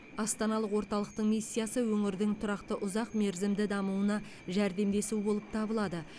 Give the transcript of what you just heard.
астаналық орталықтың миссиясы өңірдің тұрақты ұзақ мерзімді дамуына жәрдемдесу болып табылады